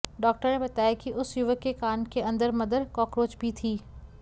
doctor ने बताया कि उस युवक के कान के अंदर मदर कॉकरोच भी थी